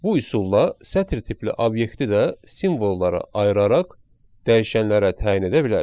Bu üsulla sətir tipli obyekti də simvollara ayıraraq dəyişənlərə təyin edə bilərik.